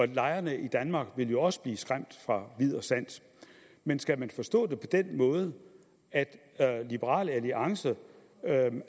lejerne i danmark vil jo også blive skræmt fra vid og sans men skal man forstå det på den måde at liberal alliance